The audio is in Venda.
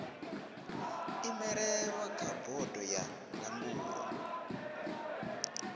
imelelwa kha bodo ya ndangulo